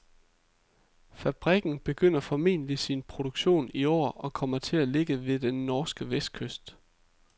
Fabrikken begynder formentlig sin produktion i år og kommer til at ligge ved den norske vestkyst.